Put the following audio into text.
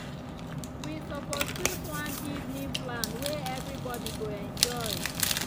we suppose chose one evening plan way everybody go enjoy.